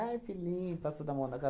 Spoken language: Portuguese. filhinho, passando a mão na cara.